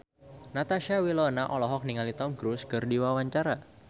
Natasha Wilona olohok ningali Tom Cruise keur diwawancara